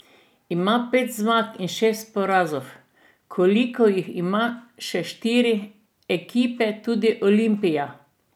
Ima pet zmag in šest porazov, kolikor jih imajo še štiri ekipe, tudi Olimpija.